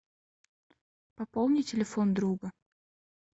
пополни телефон друга